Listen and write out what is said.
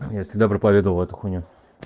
я всегда проповедовал эту хуйню